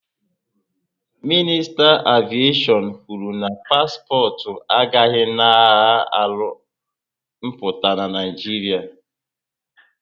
Minista aviation kwuru na paspọtụ agahzi na agha arụ mpụta na Naijiria